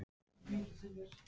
Samt var ég ekki glöð.